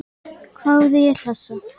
hváði ég hlessa.